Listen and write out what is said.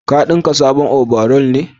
Ka dinka sabon obaral ne?